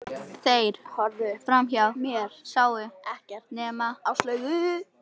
Þeir horfðu framhjá mér, sáu ekkert nema Áslaugu.